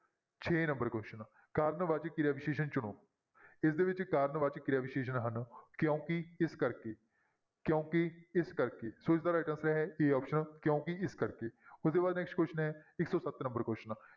ਛੇ number question ਕਾਰਨ ਵਾਚਕ ਕਿਰਿਆ ਵਿਸ਼ੇਸ਼ਣ ਚੁਣੋ ਇਹਦੇ ਵਿੱਚ ਕਾਰਨ ਵਾਚਕ ਕਿਰਿਆ ਵਿਸ਼ੇਸ਼ਣ ਹਨ ਕਿਉਂਕਿ ਇਸ ਕਰਕੇ ਕਿਉਂਕਿ ਇਸ ਕਰਕੇ, ਸੋ ਇਸਦਾ right answer ਹੈ a option ਕਿਉਂਕਿ ਇਸ ਕਰਕੇ ਉਹਦੇ ਬਾਅਦ next question ਹੈ ਇੱਕ ਸੌ ਸੱਤ number question